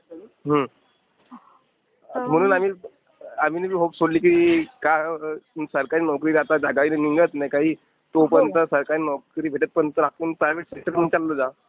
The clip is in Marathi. हु. म्हणून आम्ही... म्हणजे आम्ही होप सोडली की सरकारी नोकरी काय आता निघत नाही काही तोपर्यंत सरकारी नोकरी भेटेतपर्यंत आपण प्रायव्हेट सेक्टरला जा.